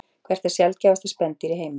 Hvert er sjaldgæfasta spendýr í heimi?